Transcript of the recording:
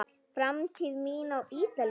Framtíð mín á Ítalíu?